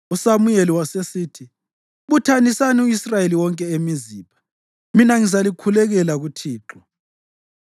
USamuyeli wasesithi, “Buthanisani u-Israyeli wonke eMizipha mina ngizalikhulekela kuThixo.”